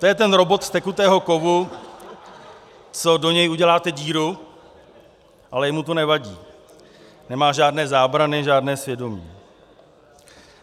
To je ten robot z tekutého kovu, co do něj uděláte díru, ale jemu to nevadí, nemá žádné zábrany, žádné svědomí.